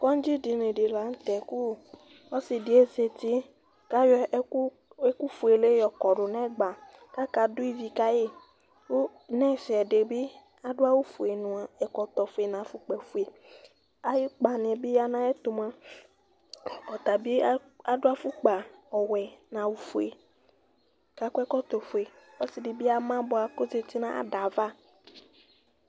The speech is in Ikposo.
Kɔŋdzɩ edini di la nʋ tɛ kʋ ɔsɩ di ozǝti, kʋ ayɔ ɛkʋfuele yɔ kɔdʋ nʋ ɛgba, kʋ akadu ivi kayi Nʋ ɛfɛ, ɛdɩ bɩ adʋ awufue nʋ ɛkɔtɔfue, nʋ afukpafue Ayʋ ukpa di bɩ ya nʋ ayu ɛtʋ mua, ɔtabɩ adʋ afukpa ɔwɛ nʋ awufue kʋ akɔ ɛkɔtɔfue Ɔsɩ di bɩ ama bʋa, kʋ ozǝti nʋ ayʋ ada yɛ ava